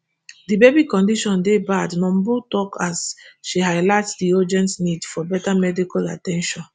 di baby condition dey bad numbur tok as she highlight di urgent need for better medical at ten tion